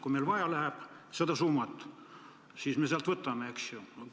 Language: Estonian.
Kui meil läheb seda summat vaja, siis me sealt võtame, eks ju.